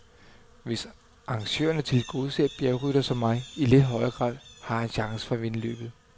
Hvis arrangørerne tilgodeser bjergryttere som mig i lidt højere grad, har jeg chancen for at vinde løbet.